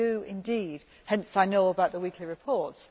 We do indeed hence I know about the weekly reports.